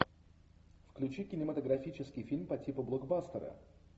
включи кинематографический фильм по типу блокбастера